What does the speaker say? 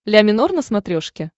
ля минор на смотрешке